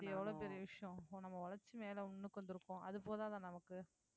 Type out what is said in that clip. அது எவ்வளவு பெரிய விஷயம் இப்போ நம்ம உழைச்சு மேலே முன்னுக்கு வந்திருக்கோம் அது போதாதா நமக்கு